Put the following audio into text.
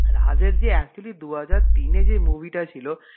রাজ যে actually দু হাজার তিনে যে movie টা ছিল,